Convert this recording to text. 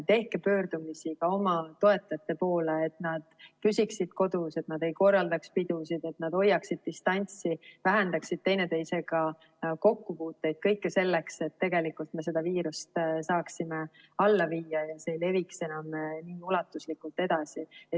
Tehke pöördumisi oma toetajate poole, et nad püsiksid kodus, et nad ei korraldaks pidusid, et nad hoiaksid distantsi, vähendaksid üksteisega kokkupuuteid, kõike selleks, et me seda viirust saaksime alla viia ja see ei leviks enam nii ulatuslikult edasi.